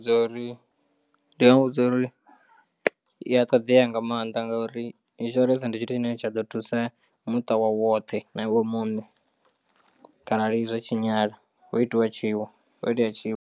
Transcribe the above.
Zwa uri ndi nga muvhudza uri i a ṱoḓea nga maanḓa ngauri insurance ndi tshithu tshine tsha ḓo thusa muṱa wawe woṱhe na iwe muṋe kharali zwa tshinyala ho itiwa tshiwo ho itea tshiwo.